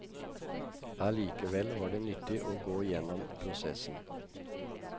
Allikevel var det nyttig å gå gjennom prosessen.